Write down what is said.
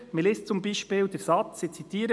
Man liest zum Beispiel den Satz, ich zitiere: